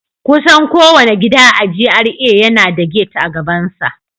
Kusan kowane gida a GRA yana da gate a gabansa